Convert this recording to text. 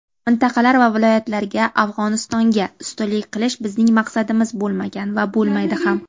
Mintaqalar va viloyatlarga (Afg‘onistonga) ustunlik qilish bizning maqsadimiz bo‘lmagan va bo‘lmaydi ham.